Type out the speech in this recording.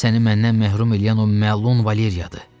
Səni məhrum eləyən o məlum Valeriyadır.